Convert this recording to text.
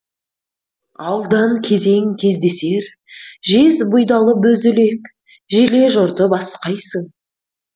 алдан кезең кездесер жез бұйдалы боз үлек желе жортып асқайсың